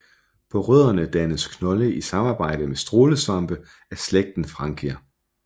På rødderne dannes knolde i samarbejde med strålesvampe af slægten Frankia